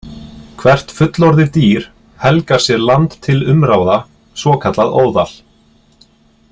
Hvert fullorðið dýr helgar sér land til umráða, svokallað óðal.